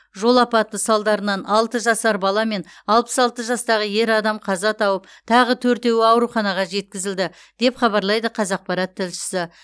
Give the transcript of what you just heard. жол апаты салдарынан алты жасар бала мен алпыс алты жастағы ер адам қаза тауып тағы төртеуі ауруханаға жеткізілді деп хабарлайды қазақпарат тілшісі